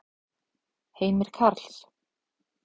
Heimir Karls.